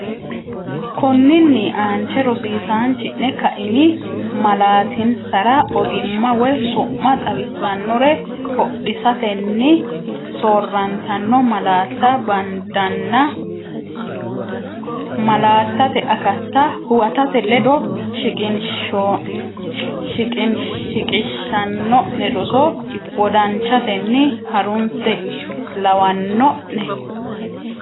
Konninni aanche rosiisaanchi’ne kaimi malaatinsara ogimma woy su’ma xawissannore hoodisatenni soorrantanno malaatta bandanna malaattate akatta huwatate ledo shiqishanno’ne roso wodanchatenni harunse, lawanno’ne?